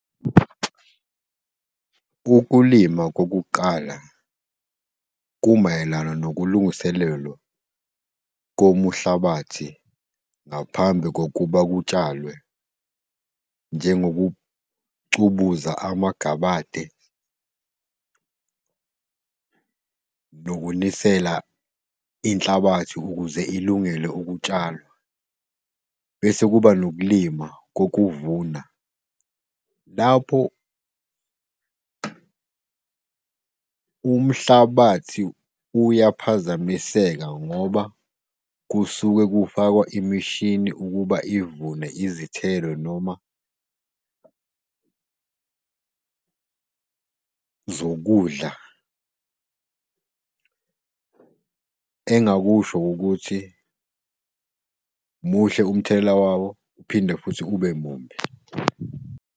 Ukulima kokuqala kumayelana nokulungiselelo komuhlabathi ngaphambi kokuba kutshalwe njengokucubuza amagabade nokunisela inhlabathi ukuze ilungele ukutshalwa. Bese kuba nokulima kokuvuna, lapho umhlabathi uyaphazamiseka ngoba kusuke kufakwa imishini ukuba ivune izithelo noma zokudla. Engingakusho ukuthi muhle umthelela wawo, uphinde futhi ube mubi.